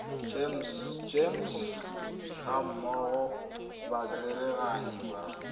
gems gammogo le batsereganyi ba